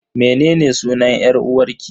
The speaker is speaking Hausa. Mene ne sunan 'yar uwarki?